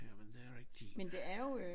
Jamen det er rigtigt